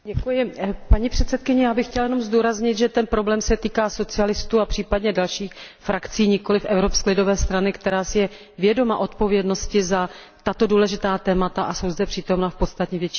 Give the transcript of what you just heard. Já bych chtěla jenom zdůraznit, že ten problém se týká socialistů a případně dalších frakcí, nikoliv Evropské lidové strany, která si je vědoma odpovědnosti za tato důležitá témata a je zde přítomna v podstatně větším počtu než ostatní.